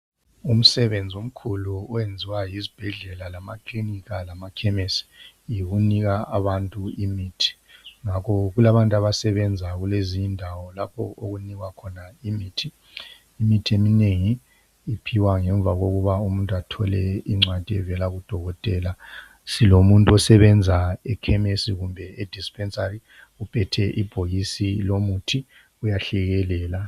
Umsebenzi omkhulu owenziwa yizbhedlela lamaklinikha lamakhemisi yikunika abantu imithi. Ngakho kulabantu abasebenza kulezi indawo lapho okunikwa khona imithi. Imithi eminengi iphiwa ngemva kokuba umuntu athole incwadi evela kudokotela. Silomuntu osebenza ekhemisi loba e dispensary uphethe ibhokisi lomuthi uyahlekelela.